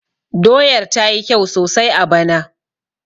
Doyar ta yi kyau sosai a bana